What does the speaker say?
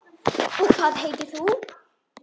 Og hvað heitir þú?